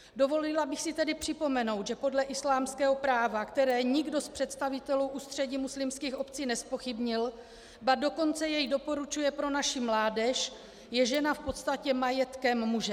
Dovolila bych si tedy připomenout, že podle islámského práva, které nikdo z představitelů Ústředí muslimských obcí nezpochybnil, ba dokonce jej doporučuje pro naši mládež, je žena v podstatě majetkem muže.